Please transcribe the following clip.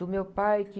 Do meu pai, que...